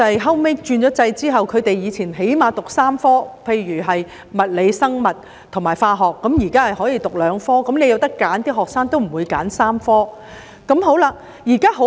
學生以前最少要修讀3科理科，例如物理、生物及化學；在轉制後，學生可以只修讀兩科，如果有選擇，學生都不會選3科理科。